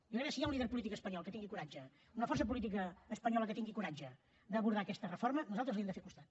jo crec que si hi ha un líder espanyol que tingui coratge una força política espanyola que tingui coratge per abordar aquesta reforma nosaltres li hem de fer costat